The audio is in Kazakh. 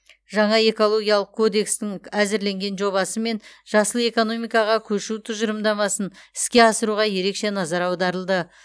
жаңа экологиялық кодекстің әзірленген жобасы мен жасыл экономикаға көшу тұжырымдамасын іске асыруға ерекше назар аударылды